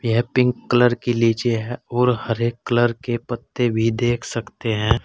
यह pink colour की लीची है और हरे कलर के पत्ते भी देख सकते हैं।